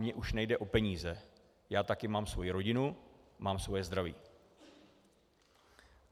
Mně už nejde o peníze, já také mám svoji rodinu, mám svoje zdraví.